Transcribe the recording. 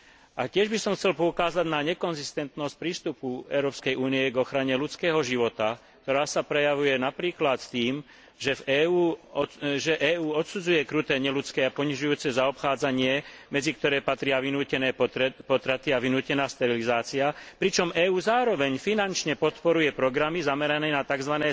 A tiež by som chcel poukázať na nekonzistentnosť prístupu Európskej únie k ochrane ľudského života, ktorá sa prejavuje napríklad tým, že EÚ odsudzuje kruté, neľudské a ponižujúce zaobchádzanie, medzi ktoré patria vynútené potraty a vynútená sterilizácia, pričom EÚ zároveň finančne podporuje programy zamerané na tzv.